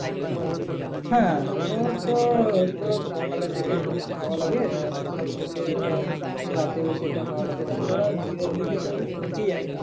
হ্যাঁ তোর তো তোর সকালের দিকে একটু বেশি হাওয়া লাগে আর সকাল থেকে ধর রাতে বেশি একটু হাওয়া লাগে তাছাড়া দিনের দিকে তর ঠিকই আছে।